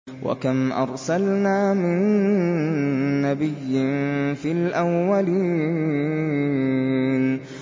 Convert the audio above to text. وَكَمْ أَرْسَلْنَا مِن نَّبِيٍّ فِي الْأَوَّلِينَ